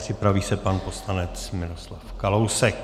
Připraví se pan poslanec Miroslav Kalousek.